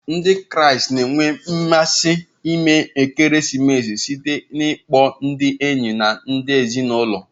Ndị Kraịst na-enwe mmasị ime ekeresimesi site n'ịkpọ ndị enyi na ndị ezinụlọ.